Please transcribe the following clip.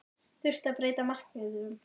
Þurfti að breyta markmiðum?